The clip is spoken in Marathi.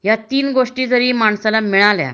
ह्या तीन गोष्टी जरी माणसाला मिळाल्या